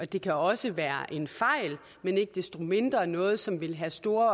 det kan også være en fejl men ikke desto mindre noget som vil have store